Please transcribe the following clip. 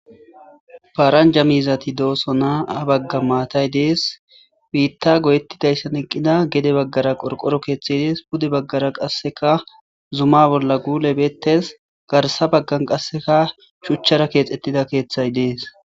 paaranja miizati dooso naa bagga maatay dees biitta goyettidayssan eqqida gede baggara qorqoro keeththey dees bude baggara qasseka zuma bolla guulebettes garsa baggan qasseka shuchchara keexettida keeththay dees